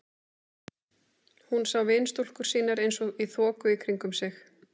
Hún sá vinstúlkur sínar eins og í þoku í kringum sig.